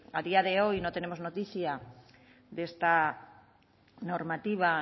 a día de hoy no tenemos noticia de esta normativa